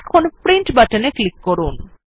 এখন প্রিন্ট বাটনে ক্লিক করুন